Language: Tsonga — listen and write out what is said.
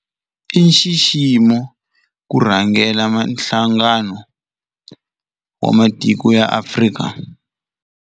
I nxiximo ku rhangela Nhlangano wa Matiko ya Afrika.